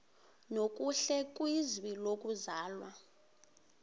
nokuhle kwizwe lokuzalwa